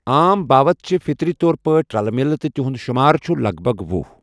عام باوٕت چھِ فٕطری طور پٲٹھۍ رلہٕ ملہٕ تہٕ تہنٛد شُمار چھُ لَگ بَگ ۄہُ۔